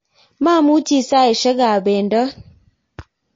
mamuchi saisiekab bendot